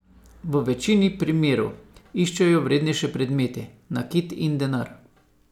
V večini primerov iščejo vrednejše predmete, nakit in denar.